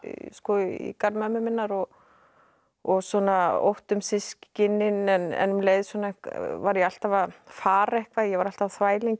i garð mömmu minnar og og svona ótti um systkinin en um leið var ég alltaf að fara eitthvað ég var alltaf á þvælingi um